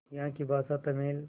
यहाँ की भाषा तमिल